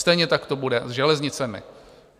Stejně tak to bude s železnicemi.